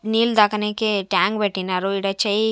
నీళ్ళు తాగనికే ట్యాంక్ పెట్టినారు ఈడ చెయ్--